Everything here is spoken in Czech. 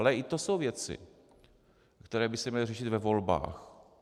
Ale i to jsou věci, které by se měly řešit ve volbách.